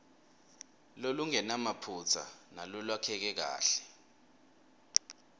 lolungenamaphutsa nalolwakheke kahle